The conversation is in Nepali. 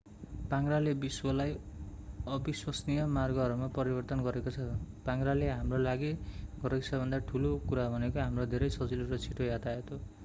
पाङ्ग्राले विश्वलाई अविश्वसनीय मार्गहरूमा परिवर्तन गरेको छ पाङ्ग्राले हाम्रोलागि गरेको सबैभन्दा ठूलो कुरा भनेको हाम्रो धेरै सजिलो र छिटो यातायात हो